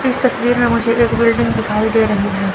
इस तस्वीर में मुझे एक बिल्डिंग दिखाई दे रही है।